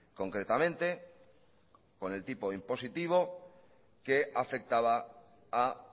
concretamente con el tipo de impositivo que afectaba a